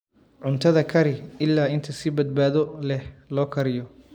Cuntada kari ilaa inta si badbaado leh loo kariyo.